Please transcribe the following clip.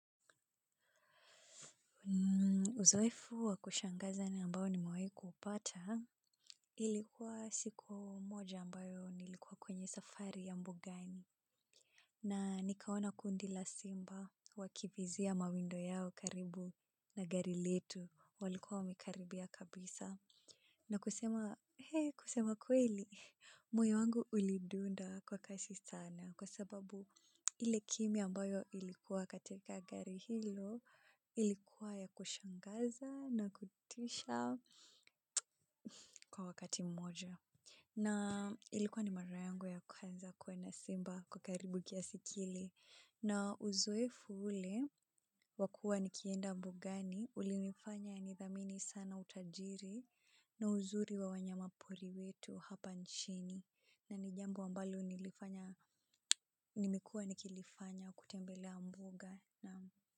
Uzoefu wa kushangaza ni ambao nimewahi kuupata ilikuwa siku moja ambayo nilikuwa kwenye safari ya mbugani na nikaona kundi la simba wakivizia mawindo yao karibu na gari letu walikuwa wamekaribia kabisa. Na kusema, hee kusema kweli, moyo wangu ulidunda kwa kasi sana kwa sababu ile kimya ambayo ilikuwa katika gari hilo ilikuwa ya kushangaza na kutisha kwa wakati mmoja. Na ilikuwa ni mara yangu ya kwanza kuona simba kwa karibu kiasi kile na uzoefu ule wakua nikienda mbugani ulinifanya nidhamini sana utajiri na uzuri wa wanyamapori wetu hapa nchini na ni jambo ambalo nilifanya nimekuwa nikilifanya kutembelea mbuga.